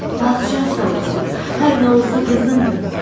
Padşah sağ olsun, hər nə olsa qızındır.